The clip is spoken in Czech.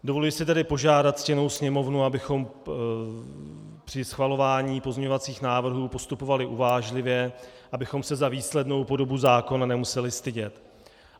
Dovoluji se tedy požádat ctěnou Sněmovnu, abychom při schvalování pozměňovacích návrhů postupovali uvážlivě, abychom se za výslednou podobu zákona nemuseli stydět.